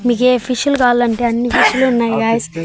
మీకే ఫిష్లు గాలంటే అన్ని ఫిష్లు ఉన్నాయి గాయ్స్ .